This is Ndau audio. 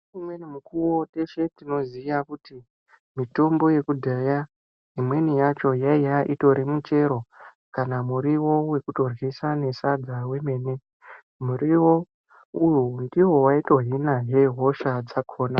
Ngeumweni mukuwo teshe tinoziya kuti mitombo yekudhaya imweni yacho yaiya itori michero kana muriwo wekutoryisa nesadza wemene. Muriwo uwowo ndiwo waitohinazve hosha dzakhona.